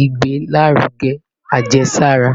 igbelaruge ajesara